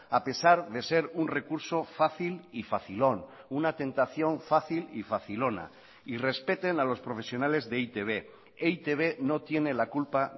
a pesar de ser un recurso fácil y facilón una tentación fácil y facilona y respeten a los profesionales de e i te be e i te be no tiene la culpa